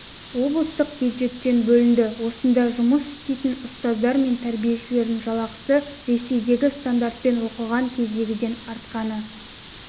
облыстық бюджеттен бөлінді осында жұмыс істейтін ұстаздар мен тәрбиешілердің жалақысы ресейдегі стандартпен оқыған кездегіден артқаны